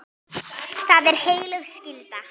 Það er heilög skylda.